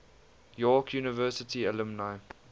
york university alumni